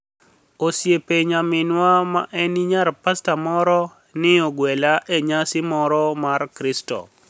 Osiep niyaminiwa ma eni niyar pasta moro, ni e ogwela e niyasi moro mar kristo.